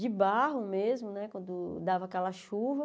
de barro mesmo né, quando dava aquela chuva.